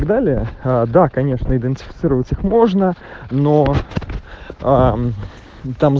далее а да конечно идентифицировать их можно ноо ээм там з